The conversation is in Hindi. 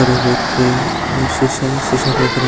और एक व्यक्ति जो शीसा है शीसा देख रहा।